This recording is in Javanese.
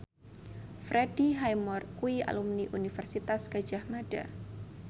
Freddie Highmore kuwi alumni Universitas Gadjah Mada